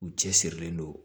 U cɛsirilen don